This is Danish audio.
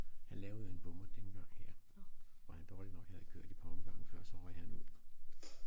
Han lavede en bommert den gang her hvor han dårligt nok havde kørt et par omgange før så røg han ud